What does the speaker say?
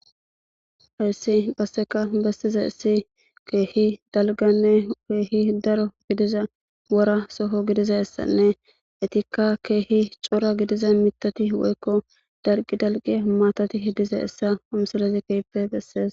hayssi qasseka bessiza issi keehi dalganne keehi daro gidiza wora soho gidizayssanne etikka keehi cora gidiza mitati woykko dalqi dalqi maatati hidiza issa umsilezi keipe bessees